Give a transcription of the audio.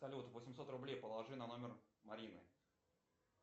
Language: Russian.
салют восемьсот рублей положи на номер марины